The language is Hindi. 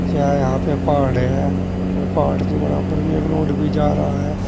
यह यहां पे पहाड़ है और पहाड़ के बराबर में एक रोड भी जा रहा है।